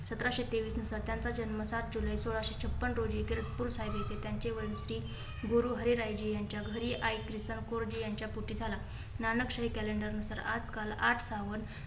सतराशे तेवीस नुसार त्यांचा जन्म सात जुलै सोळाशे छप्पन रोजी खडकपूरसाहेब येथे त्यांचे वडील गुरु हरीरायजी यांच्या घरी आई प्रितम कौरजी यांच्या पोटी झाला. नानकश्री calendar नुसार आठ काल आठ सावन